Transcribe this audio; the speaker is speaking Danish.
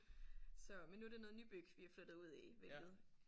Så men nu er det noget nybyg vi er flyttet ud i hvilket